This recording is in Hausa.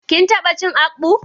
Kin tabba cin akpu?